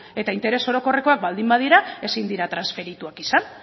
eta interes orokorrekoak baldin badira ezin dira transferituak izan